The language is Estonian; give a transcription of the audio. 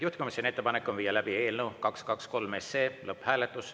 Juhtivkomisjoni ettepanek on viia läbi eelnõu 223 lõpphääletus.